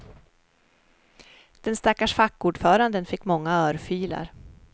Den stackars fackordföranden fick många örfilar.